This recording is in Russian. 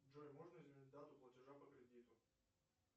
джой можно изменить дату платежа по кредиту